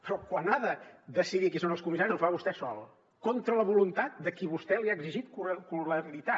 però quan ha de decidir qui són els comissaris ho fa vostè sol contra la voluntat de a qui vostè li ha exigit coralitat